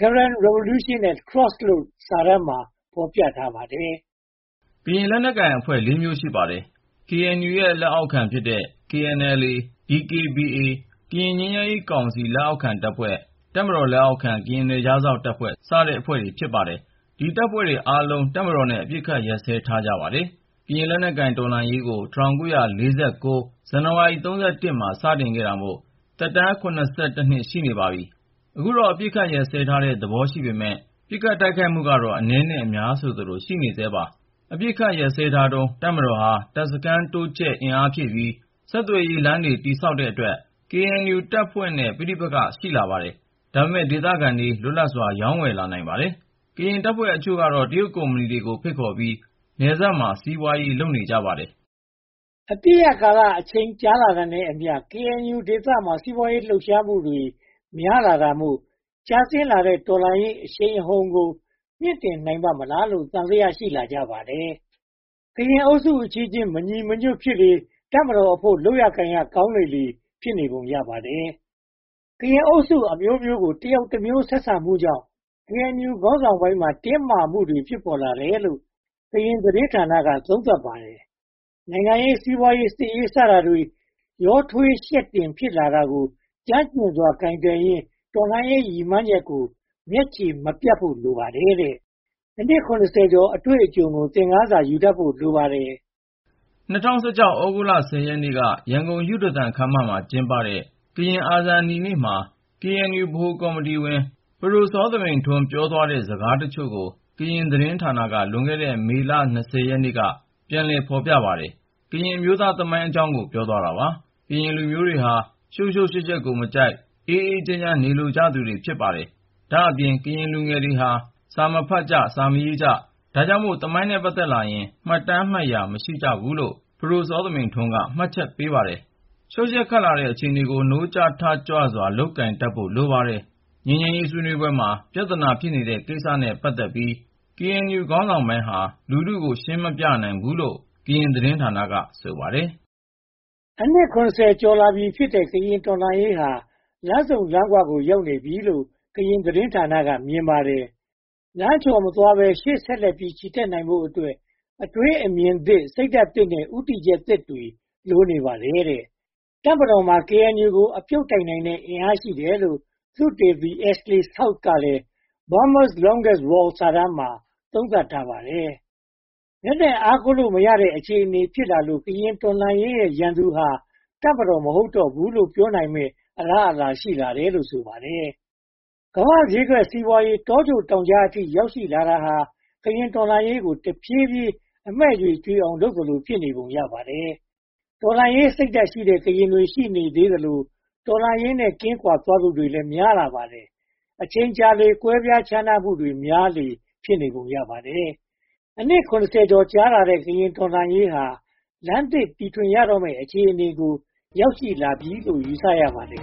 Karen Revolution at Crossroad စာတမ်းမှာ ဖော်ပြထားပါတယ်။ ကရင်လက်နက်ကိုင်တပ်ဖွဲ့ လေးမျိုး ရှိပါတယ်။ KNU ရဲ့ လက်အောက်ခံဖြစ်တဲ့ KNLA တပ်ဖွဲ့၊ DKBA တပ်ဖွဲ့၊ ကရင်ငြိမ်းချမ်းရေးကောင်စီ လက်အောက်ခံတပ်ဖွဲ့၊ တပ်မတော်လက်အောက်ခံ ကရင်နယ်ခြားစောင့်တပ် စတဲ့ တပ်ဖွဲ့တွေ ဖြစ်ပါတယ်။ ဒီတပ်ဖွဲ့တွေအားလုံး တပ်မတော်နဲ့ အပစ်အခတ် ရပ်စဲထားကြပါတယ်။ ကရင်လက်နက်ကိုင် တော်လှန်ရေးကို ၁၉၄၉ ဇန်နဝါရီလ (၃၁) ရက်နေ့မှာ စတင်တာမို့ တော်လှန်ရေးသက်တမ်း (၇၁) နှစ် ရှိနေပါပြီ။ အခုတော့ အပစ်အခတ်ရပ်စဲထားတဲ့ သဘောရှိပေမယ့် ပစ်ခတ်တိုက်ခိုက်မှုကတော့ အနည်းနဲ့အများ ရှိနေဆဲပါပဲ။ အပစ်အခတ်ရပ်စဲထားတုန်း တပ်မတော်ဟာ တပ်စခန်းတိုးချဲ့အင်အားဖြည့်ပြီး ဆက်သွယ်ရေးလမ်းတွေ တည်ဆောက်တဲ့အတွက် KNU တပ်ဖွဲ့နဲ့ ပဋိပက္ခ ဖြစ်လာပါတယ်။ ဒါပေမဲ့ ဒေသခံတွေ လွတ်လပ်စွာ ရောင်းဝယ်လာနိုင်ပါတယ်။ ကရင်တပ်ဖွဲ့အချို့ကတော့ တရုတ်ကုမ္ပဏီတွေ ဖိတ်ခေါ်ပြီး နယ်စပ်မှာ စီးပွားရေး လုပ်ကြပါတယ်။ အပစ်ရပ်ကာလအချိန် ကြာလာတာနဲ့အမျှ KNU ဒေသမှာ စီးပွားရေးလှုပ်ရှားမှုတွေ များလာတာမို့ ကျဆင်းလာတဲ့ တော်လှန်ရေးအရှိန်အဟုန်ကို မြှင့်တင်နိုင်ပါ့မလားလို့ သံသယ ရှိလာကြပါတယ်။ ကရင်အုပ်စုအချင်းချင်း မညီမညွှတ်ဖြစ်လေ တပ်မတော်အဖို့ လုပ်လို့ကိုင်လို့ကောင်းလေ ဖြစ်နေပုံရပါတယ်။ ကရင်အုပ်စုအမျိုးမျိုးကို တယောက်တမျိုး ဆက်ဆံမှုကြောင့် KNU ခေါင်းဆောင်ပိုင်းမှာ တင်းမာမှုတွေ ဖြစ်ပေါ်လာတယ်လို့ ကရင်သတင်းဌာနက သုံးသပ်ပါတယ်။ နိုင်ငံရေး၊ စီးပွားရေး၊ စစ်ရေး စတာတွေ ရောထွေးယှက်တင် ဖြစ်လာတာကို ကျွမ်းကျင်စွာ ကိုင်တွယ်ရင်း တော်လှန်ရေး ရည်မှန်းချက်ကို မျက်ခြေမပြတ်ဖို့ လိုပါတယ်တဲ့။ အနှစ် (၇၀) ကျော် အတွေ့အကြုံကို သင်ခန်းစာ ယူတတ်ဖို့ လိုပါတယ်။ ၂၀၁၆ သြဂုတ်လ (၁၀) ရက်နေ့က ရန်ကုန်ယုဒသန်ခန်းမမှာ ကျင်းပတဲ့ ကရင်အာဇာနည်နေ့မှာ KNU ဗဟိုကော်မတီဝင် ပဒိုစောသမိန်ထွန်း ပြောသွားတဲ့ စကားအချို့ကို ကရင်သတင်းဌာနက လွန်ခဲ့တဲ့ မေလ (၂၀) ရက်နေ့က ပြန်လည် ဖော်ပြပါတယ်။ ကရင်အမျိုးသားသမိုင်းအကြောင်းကို ပြောသွားတာပါ။ ကရင်လူမျိုးတွေဟာ ရှုပ်ရှုပ်ယှက်ယှက်ကိုမကြိုက်၊ အေးအေးချမ်းချမ်း နေလိုကြပါတယ်။ ဒါ့အပြင် ကရင်လူငယ်တွေဟာ စာမဖတ်ကြ၊ စာမရေးကြ၊ ဒါကြောင့်မို့ သမိုင်းနဲ့ ပတ်သက်လာရင် မှတ်တမ်းမှတ်ရာ မရှိကြဘူးလို့ ပဒိုစောသမိန်ထွန်းက မှတ်ချက်ချပါတယ်။ ရှုပ်ယှက်ခတ်လာတဲ့ အခြေအနေကို နိုးကြားထကြွစွာ ကိုင်တွယ်တတ်ဖို့ လိုပါတယ်။ ငြိမ်းချမ်းရေးဆွေးနွေးပွဲမှာ ပြဿနာ ဖြစ်နေတဲ့ကိစ္စတွေနဲ့ ပတ်သက်ပြီး KNU ခေါင်းဆောင်ပိုင်းဟာ လူထုကို ရှင်းမပြနိုင်ခဲ့ဘူးလို့ ကရင်သတင်းဌာနက ဆိုပါတယ်။ အနှစ် (၇၀) ကျော်လာပြီးဖြစ်တဲ့ ကရင်တော်လှန်ရေးဟာ လမ်းဆုံလမ်းခွကို ရောက်နေပြီလို့ ကရင်သတင်းဌာနက မြင်ပါတယ်။ လမ်းချော်မသွားဘဲ ရှေ့ဆက်လက်ချီတတ်နိုင်ဖို့အတွက် အတွေးအမြင်သစ် စိတ်ဓါတ်သစ်နဲ့ ဦးတည်ချက်သစ်တွေ လိုအပ်နေပါတယ်။ တပ်မတော်မှာ KNU ကို အပြုတ်တိုက်နိုင်တဲ့ အင်အားရှိတယ်လို့ သုတေသီ Ashley South ကလည်း Burma’s Longest War စာတမ်းမှာ သုံးသပ်ထားပါတယ်။ လက်နက်အားကိုးလို့မရတဲ့ အခြေအနေဖြစ်လာလို့ ကရင်တော်လှန်ရေးရဲ့ ရန်သူဟာ တပ်မတော် မဟုတ်တော့ဘူးလို့ ပြောနိုင်မယ့်အလားအလာ ရှိလာတယ်လို့ ဆိုပါတယ်။ ကမ္ဘာ့ဈေးကွက်စီးပွားရေး တောကြိုတောင်ကြားအထိ ရောက်ရှိလာတာဟာ ကရင်တော်လှန်ရေးကို တဖြည်းဖြည်းအမှည့်ကြွေအောင် လုပ်သလို ဖြစ်နေပုံရပါတယ်။ တော်လှန်ရေးစိတ်ဓါတ်ရှိတဲ့ ကရင်တွေ ရှိနေသေးသလို တော်လှန်ရေးနဲ့ ကင်းကွာသွားသူတွေလည်း များလာပါတယ်။ အချိန်ကြာလေ ကွဲပြားခြားနားမှုတွေ များလေလေ ဖြစ်နေပုံရပါတယ်။ အနှစ် (၇၀) ကျော်ကြာခဲ့တဲ့ ကရင်တော်လှန်ရေးဟာ လမ်းသစ်တီထွင်ရတော့မယ် အခြေအနေကို ရောက်ရှိလာပြီလို့ ယူဆရပါတယ်